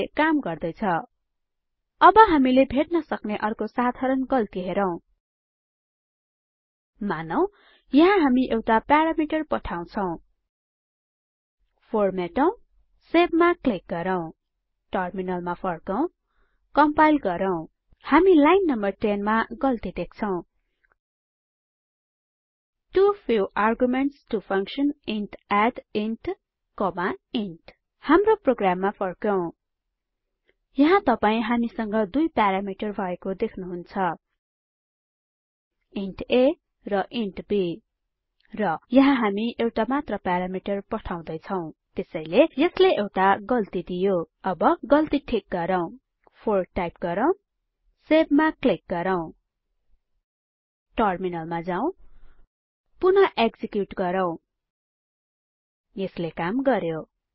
यसले काम गर्दै छ अब हामीले भेट्न सक्ने अर्को साधारण गल्ति हेरौं मानौं यहाँ हामी एउटा प्यारामिटर पठाउछौं 4 मेटौं सेव मा क्लिक गरौँ टर्मिनलमा फर्कौं कम्पाइल गरौँ हामी लाइन नं 10 मा गल्ति देख्छौं too few arguments to function int add int int हाम्रो प्रोग्राममा फर्कौं यहाँ तपाई हामीसँग दुई प्यारामिटर भएको देख्नुहुन्छ इन्ट a र इन्ट b र यहाँ हामी एउटा मात्र प्यारामिटर पठाउदै छौं त्यसैले यसले एउटा गल्ति दियो अब गल्ति ठिक गरौँ 4 टाइप गरौँ सेव मा क्लिक गरौँ टर्मिनल मा जाउँ पुन एक्जिक्युट गरौँ यसले काम गर्यो